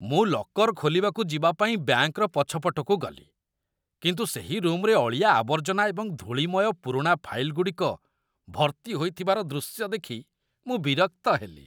ମୁଁ ଲକର୍ ଖୋଲିବାକୁ ଯିବା ପାଇଁ ବ୍ୟାଙ୍କର ପଛପଟକୁ ଗଲି, କିନ୍ତୁ ସେହି ରୁମ୍‌ରେ ଅଳିଆ ଆବର୍ଜନା ଏବଂ ଧୂଳିମୟ ପୁରୁଣା ଫାଇଲ୍‌ଗୁଡ଼ିକ ଭର୍ତ୍ତି ହୋଇଥିବାର ଦୃଶ୍ୟ ଦେଖି ମୁଁ ବିରକ୍ତ ହେଲି।